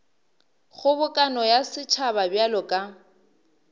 kgobokano ya setšhaba bjalo ka